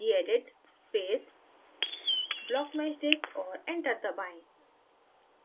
gedit space blockmeshdict और enter दबाएँ